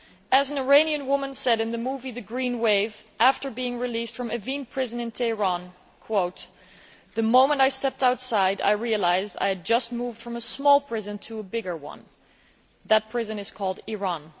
As an Iranian woman said in the movie The Green Wave after being released from Evin prison in Tehran The moment I stepped outside I realised I had just moved from a small prison to a bigger one that prison is called Iran'.